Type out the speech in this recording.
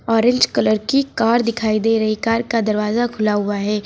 Orange colour की car दिखाई दे रही कार का दरवाजा खुला हुआ है।